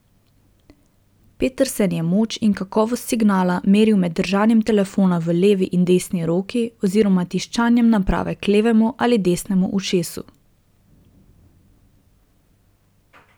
Petersen je moč in kakovost signala meril med držanjem telefona v levi in desni roki oziroma tiščanjem naprave k levemu ali desnemu ušesu.